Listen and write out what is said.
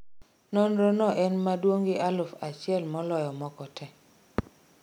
nonrono en maduong' di aluf achiel moloyo moko tee